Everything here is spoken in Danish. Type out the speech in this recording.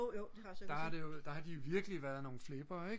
der har det der har de virkelig været nogle flippere ikk